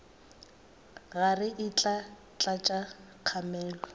rage e tla tlatša kgamelo